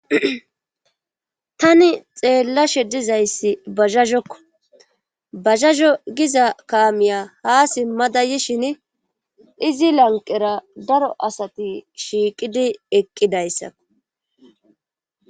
tani xeellashe dizayssi bazhahokko bazazo giza kaamiya ha simmada yishin izi lanqera daro asati shiiqidi eqqidayssa